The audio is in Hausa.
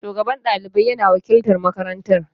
Shugaban ɗalibai na wakiltar marakanatar.